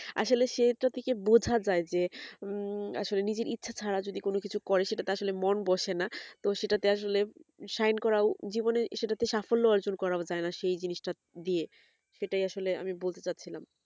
আসলে সে এটা থেকে বোঝা যাই যে উম আসলে নিজের ইচ্ছে ছাড়া যদি কোনো কিছু করে সেটাতে আসলে মন বসে না তো সেটাতে আসলে shine করা ও জীবনের সেটাতে সাফল্য অর্জন করার সেই জিনিসটা দিয়ে সেটাই আসলে আমি বলতে যাচ্ছিলাম